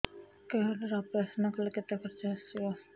card ରେ operation କଲେ କେତେ ଖର୍ଚ ଆସିବ